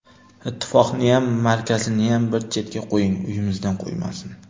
Ittifoqniyam, markaziniyam bir chetga qo‘ying, uyimizdan qo‘ymasin.